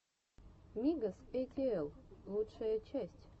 мигос эй ти эл лучшая часть